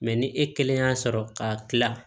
ni e kelen y'a sɔrɔ ka kila